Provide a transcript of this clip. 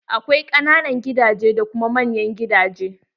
Akwai ƙananan gidaje da kuma manyan gidaje.